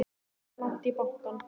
Það er langt í bankann!